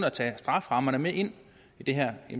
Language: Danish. at tage strafferammerne med ind i det her